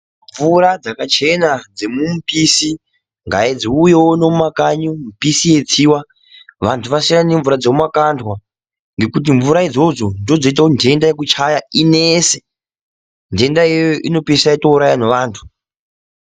Mvura dzakachena dzemumipisi ngadziuye uno mumakanyi mipisi yeitsiwa vantu vasiyane nemvura dzemumakandwa ngekuti mvura idzodzo ndidzo dzinoita kuti nhenda yekuchaya inese, nhenda iyoyo inopesa yatouraya nevantu.